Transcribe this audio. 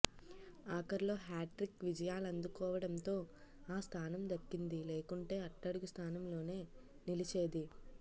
ఆఖర్లో hat trick విజయాలందుకోవడంతో ఆ స్థానం దక్కింది లేకుంటే అట్టుడుగు స్థానంలో నిలిచేది